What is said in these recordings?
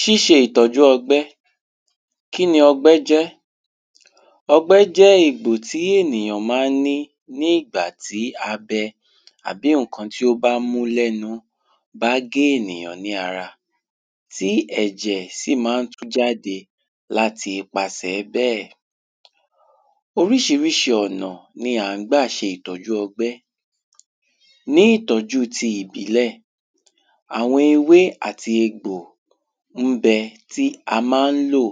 ṣiṣé ìtọ́jú ọgbẹ́ kí ni ọgbẹ́ jẹ́ ọgbẹ́ jẹ́ ègbò tí ènìyàn má ń ní ní ìgbà tí a bẹ àbí ǹkan tó bá mú lẹnu bá gé ènìyàn ní ara tí ẹ̀jẹ̀ sì má ń jáde láti ipàsẹ̀ bẹ́ẹ̀ oríṣiríṣi ọ̀nà ni à ń gbà ṣe ìtọ́jú ọgbẹ́ ní ìtọ́jú ojú ọgbẹ́ náà àwọn ewé àti egbò ń bẹ tí a má ń lò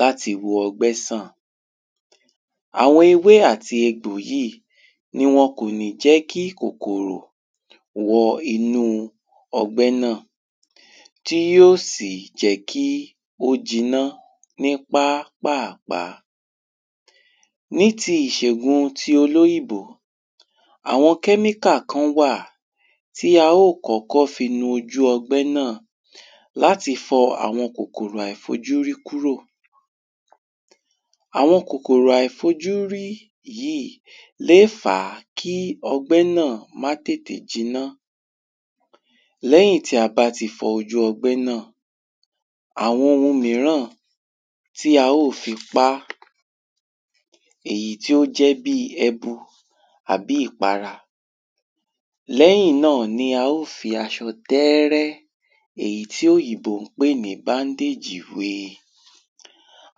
láti wo ọgbẹ́ sàn àwọn ewé àti egbòyíì ni wọn kò lè jẹ́ kí kòkòrò wọ inú ọgbẹ́ náà tí ó sì jẹ́ kí ó jiná ní pápàpá ní ti ìṣegùn olóyìnbó àwọn kẹ́míkà kán wà tí a ó kọkọ fi nu ojú ọ̀gbẹ́ náà láti fọ àwọn kokòrò àìfojúrí kúrò àwọn kokòrò àìfojúrí yíì lé fà kí ọgbẹ́ náà má tètè jinà lẹ́yìn tí a bá ti fọ ojú ọgbẹ́ náà àwọn ohun míràn tí a ó fi pá èyí tí ó jẹ́ bí ẹbu àbí ìpara lẹ́yìn náà la ó fi aṣọ tẹ́ẹ́rẹ́ èyí tí òyìnbó pè ní báńdèjì we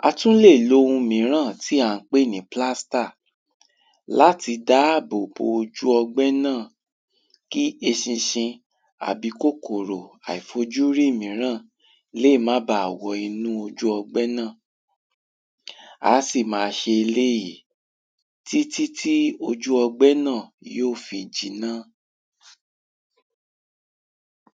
a tú lè lo ohun míràn tí à ń pé ní plástà láti dáábòbò ojú ọgbẹ́ náà kí eṣinṣin àbí kòkòrò àìfojúrí míràn léè má ba à wọ inú ojú ọgbẹ́ náà á sì ma ṣe eléyìí títítí ojú ọgbẹ́ náà tí ó fi jiná